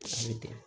An bɛ ten